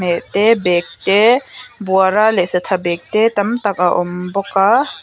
bag te buara leh satha bag te tam tak a awm bawk aa--